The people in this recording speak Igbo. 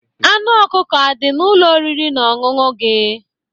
Anụ ọkụkọ adị n'Ụlọ oriri na ọṅụṅụ gị?